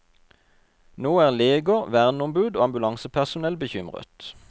Nå er leger, verneombud og ambulansepersonell bekymret.